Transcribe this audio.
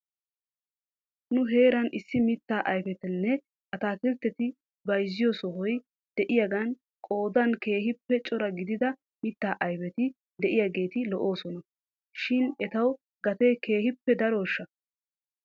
Nu heeran issi mittaa ayfetanne atakiltteta bayzziyoo sohoy de'iyaagan qoodan keehippe cora gidida mittaa ayfeti de'iyaageeti lo'oosona shin etaw gatee keehippe darooshsha?